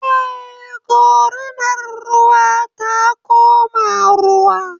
Eh, Gorinar ruwa ta koma ruwa